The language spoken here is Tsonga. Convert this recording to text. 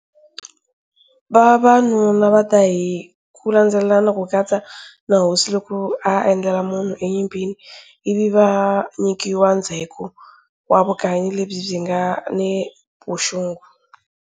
Vavanuna va ta hi kulandzelelana, ku katsa na hosi loki a edlele munhu enyimpini, ivi va nyikiwa ndzheko wa vukanyi lebyi nga ni vuxungu.